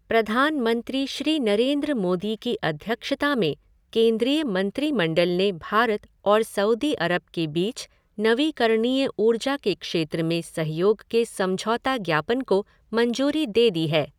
प्रधानमंत्री श्री नरेन्द्र मोदी की अध्यक्षता में केन्द्रीय मंत्रिमंडल ने भारत और सऊदी अरब के बीच नवीकरणीय ऊर्जा के क्षेत्र में सहयोग के समझौता ज्ञापन को मंजूरी दे दी है।